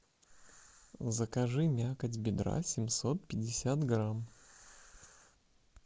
закажи мякоть бедра семьсот пятьдесят грамм